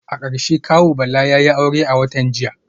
A karshe kawu Bala yayi aure a watan jiya